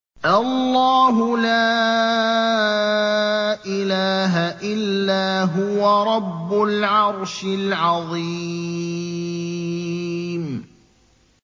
اللَّهُ لَا إِلَٰهَ إِلَّا هُوَ رَبُّ الْعَرْشِ الْعَظِيمِ ۩